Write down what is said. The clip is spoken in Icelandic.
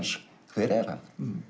hver er hann